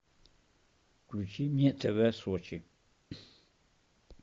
включи мне тв сочи